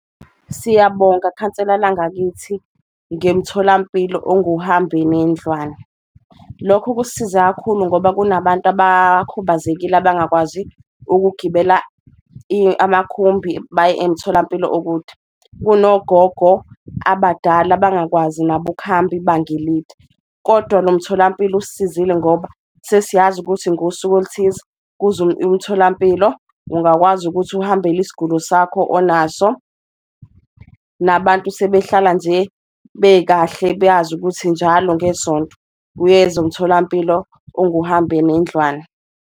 Siyabonga khansela langakithi, ngemtholampilo onguhambinendlwane, lokho kusisiza kakhulu ngoba kunabantu abakhubazekile abangakwazi ukugibela amakhumbi baye emtholampilo okude, kunogogo abadala abangakwazi nabo ukuhamba ibanga elide. Kodwa lo mtholampilo usisizile ngoba sesiyazi ukuthi ngosuku oluthize kuzwa emtholampilo ungakwazi futhi uhambele isgulo sakho onaso, nabantu sebehlala nje bekahle ukuthi njalo ngesonto uyeza umtholampilo onguhambenendlwane.